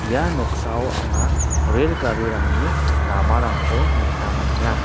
ia noksao anga rel garirangni ramarangko nikna man·enga.